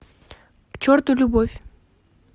к черту любовь